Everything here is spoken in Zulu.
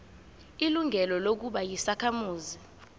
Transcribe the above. ilungelo lokuba yisakhamuzi